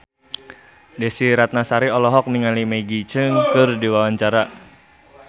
Desy Ratnasari olohok ningali Maggie Cheung keur diwawancara